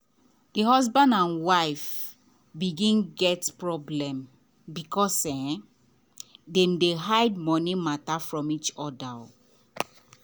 the husband and wife begin get problem because um dey dem hide money matter from each other.